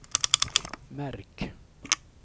märk